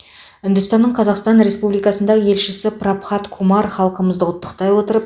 үндістанның қазақстан республикасында елшісі прабхат кумар халқымызды құттықтай отырып